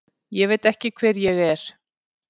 Ég veit ekki hver ég er.